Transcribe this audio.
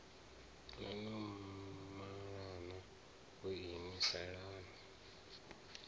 no no malana vhoinwi salani